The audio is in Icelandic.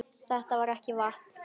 Þetta er ekki vatn!